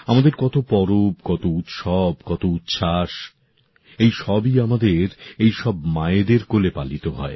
আমাদের কত পরব কত উৎসব কত উচ্ছ্বাস এই সবই আমাদের এই সব মায়েদের কোলে পালিত হয়